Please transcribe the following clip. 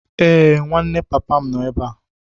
Ee, nwanne papa m nọ ebe a.